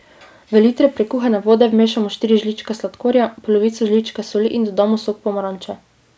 V liter prekuhane vode vmešamo štiri žličke sladkorja, polovico žličke soli in dodamo sok pomaranče.